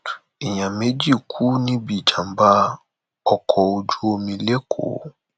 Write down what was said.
èèyàn méjì kú níbi ìjàmbá ọkọ ojú omi lẹkọọ